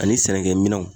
Ani sɛnɛkɛ minɛnw